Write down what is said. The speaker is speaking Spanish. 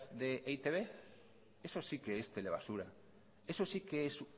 de e i te be eso sí que es telebasura eso sí que es